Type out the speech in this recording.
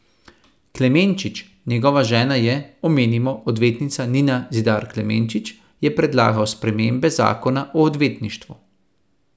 Klemenčič, njegova žena je, omenimo, odvetnica Nina Zidar Klemenčič, je predlagal spremembe zakona o odvetništvu.